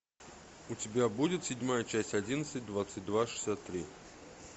у тебя будет седьмая часть одиннадцать двадцать два шестьдесят три